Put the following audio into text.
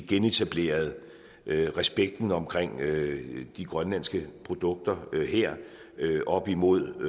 genetableret respekten omkring de grønlandske produkter her op imod